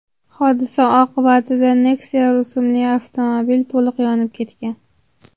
Hodisa oqibatida Nexia rusumli avtomobil to‘liq yonib ketgan.